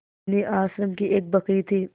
बिन्नी आश्रम की एक बकरी थी